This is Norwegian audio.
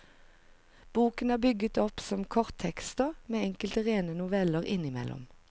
Boken er bygget opp som korttekster, med enkelte rene noveller innimellom.